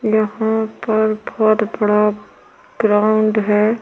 यहाँ पर बहोत बड़ा ग्राउन्ड हैं।